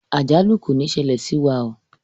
Àjálù kò ní ṣẹlẹ̀ sí wa oo.